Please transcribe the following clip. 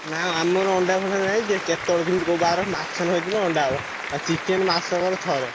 ନା ଆମର ଅଣ୍ଡା ଫଣ୍ଡା ନାହିଁ ଯେ କେତବେଳେ କେମିତି କୋଉ ବାର ମାଛ ନହେଇଥିବ ଅଣ୍ଡା ହବ। ଆଉ chicken ମାସକରେ ଥରେ।